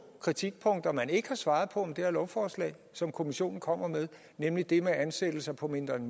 kritikpunkter man ikke har svaret på med det her lovforslag og som kommissionen kommer med nemlig det med ansættelser på mindre end